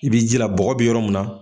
I b'i jila bɔgɔ bi yɔrɔ mun na.